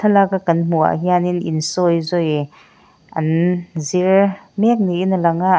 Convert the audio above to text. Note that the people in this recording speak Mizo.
thlalaka kan hmuh ah hianin insawizawi an zir mêk niin a lang a--